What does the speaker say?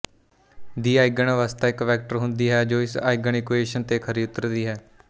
ਦੀ ਆਈਗਨਅਵਸਥਾ ਇੱਕ ਵੈਕਟਰ ਹੁੰਦੀ ਹੈ ਜੋ ਇਸ ਆਈਗਨ ਇਕੁਏਸ਼ਨ ਤੇ ਖਰੀ ਉਤਰਦੀ ਹੈ